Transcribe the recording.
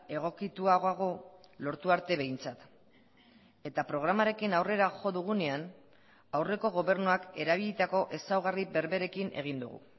egokituagoago lortu arte behintzat eta programarekin aurrera jo dugunean aurreko gobernuak erabilitako ezaugarri berberekin egin dugu